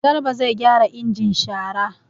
Garba zai gyara injin shara.